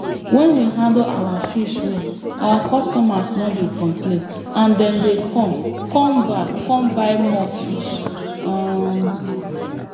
when we handle our fish well our customers no dey complain and dem dey come come back come buy more fish um